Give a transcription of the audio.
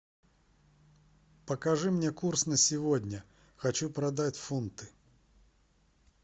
покажи мне курс на сегодня хочу продать фунты